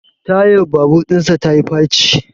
Tayar babur dinsa ta yi faci